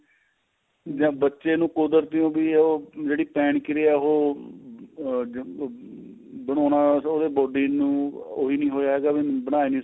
ਬੱਚੇ ਨੂੰ ਕੁਦਰਤੀ ਉਹ ਵੀ ਜਿਹੜੀ ਪੈਣ ਕਿਰਿਆ ਉਹ ਆ ਬਣਾਉਣਾ ਉਹਦੇ body ਨੂੰ ਉਹ ਈ ਨਹੀਂ ਹੋਇਆ ਵੀ ਬਣਾ ਇਈ ਨਹੀਂ ਸਕਦਾ